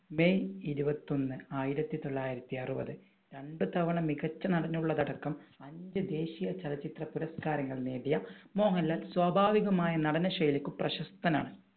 May ഇരുപത്തി ഒന്ന് ആയിരത്തി തൊള്ളായിരത്തി അറുപത്. രണ്ടുതവണ മികച്ച നടൻ ഉള്ളത് അടക്കം അഞ്ചു ദേശീയ ചലച്ചിത്ര പുരസ്കാരങ്ങൾ നേടിയ മോഹൻലാൽ സ്വാഭാവികമായ നടന ശൈലിക്ക് പ്രശസ്തനാണ്.